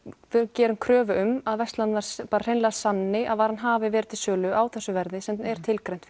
gerum kröfu um að verslanir hreinlega sanni hafi verið til sölu á þessu verði sem er tilgreint